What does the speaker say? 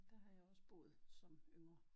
Der har jeg også boet som yngre